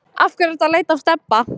Af hverju ertu að leita að Stebba